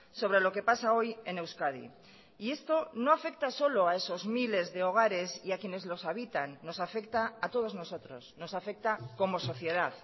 sobre lo que pasa hoy en euskadi y esto no afecta solo a esos miles de hogares y a quienes los habitan nos afecta a todos nosotros nos afecta como sociedad